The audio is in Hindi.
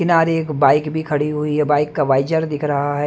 किनारे एक बाइक भी खड़ी हुई है बाइक का वाइचर दिख रहा है।